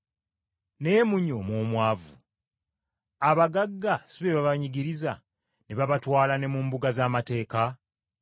Naye munyooma omwavu. Abagagga si be babanyigiriza ne babatwala ne mu mbuga z’amateeka?